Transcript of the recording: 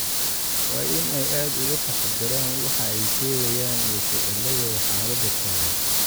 waa in ay aad uga taxadaraan waxa ay sheegayaan iyo ficiladooda xaaladan taagan.